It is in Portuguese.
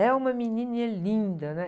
É uma menininha linda, né?